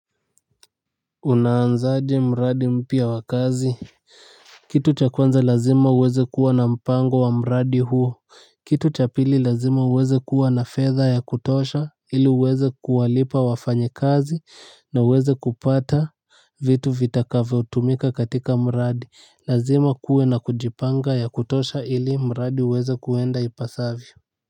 Unaanzaje mradi mpya wa kazi. Kitu cha kwanza lazima uweze kuwa na mpango wa mradi huo. Kitu cha pili lazima uweze kuwa na fedha ya kutosha ili uweze kuwalipa wafanyekazi na uweze kupata vitu vitavyotumika kwenye mradi. Lazima kuwe na kujipanga ya kutosha ili mradi uweze kuenda ipasavyo.